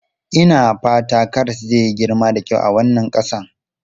Ina fata karas zai yi girma da kyau a wannan ƙasa.